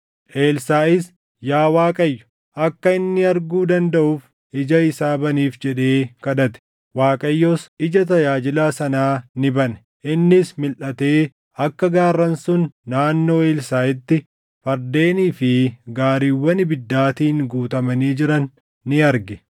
Elsaaʼis, “Yaa Waaqayyo, akka inni arguu dandaʼuuf ija isaa baniif” jedhee kadhate. Waaqayyos ija tajaajilaa sanaa ni bane; innis milʼatee akka gaarran sun naannoo Elsaaʼitti fardeenii fi gaariiwwan ibiddaatiin guutamanii jiran ni arge.